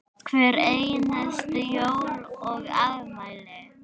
Hver einustu jól og afmæli.